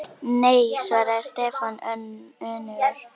Nei svaraði Stefán önugur.